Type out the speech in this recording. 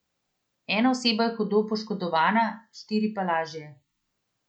Ena oseba je hudo poškodovana, štiri pa lažje.